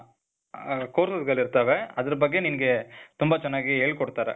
ಆ, courses ಗಳಿರ್ತವೆ. ಅದ್ರ್ ಬಗ್ಗೆ ನಿನ್ಗೆ ತುಂಬ ಚೆನ್ನಾಗಿ ಹೇಳ್ಕೊಡ್ತಾರೆ.